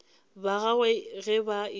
ba gagwe ge ba ekwa